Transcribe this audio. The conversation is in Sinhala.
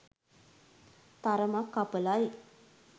තරමක් අපලයි.